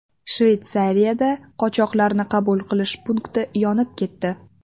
Shveysariyada qochoqlarni qabul qilish punkti yonib ketdi.